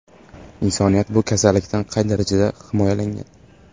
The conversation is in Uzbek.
Insoniyat bu kasallikdan qay darajada himoyalangan?